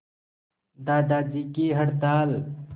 दादाजी की हड़ताल